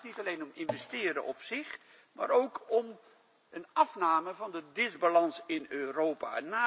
Het gaat niet alleen om investeren op zich, maar ook om een afname van de disbalans in Europa.